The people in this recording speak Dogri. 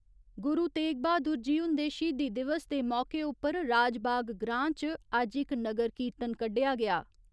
गुरु तेग बहादुर जी हुंदे शहीदी दिवस दे मौके उप्पर राजबाग ग्रां च अज्ज इक नगर कीर्तन कड्डेआ गेआ।